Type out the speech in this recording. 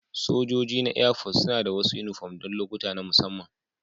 Sojojin na Airforce suna da wasu yunifom don lokuta na musamman